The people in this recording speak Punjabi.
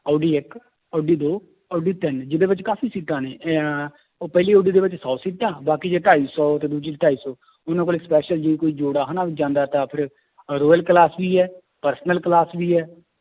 ਓਡੀ ਇੱਕ ਓਡੀ ਦੋ ਓਡੀ ਤਿੰਨ ਜਿਹਦੇ ਵਿੱਚ ਕਾਫ਼ੀ ਸੀਟਾਂ ਨੇ ਇਹ ਉਹ ਪਹਿਲੀ ਓਡੀ ਦੇ ਵਿੱਚ ਸੌ ਸੀਟਾਂ ਬਾਕੀ 'ਚ ਢਾਈ ਸੌ ਤੇ ਦੂਜੀ 'ਚ ਢਾਈ ਸੌ ਉਹਨਾਂ ਕੋਲੇ special ਜੇ ਕੋਈ ਜੋੜਾ ਹਨਾ ਜਾਂਦਾ ਤਾਂ ਫਿਰ ਅਹ royal class ਵੀ ਹੈ personal class ਵੀ ਹੈ